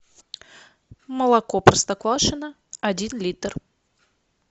молоко простоквашино один литр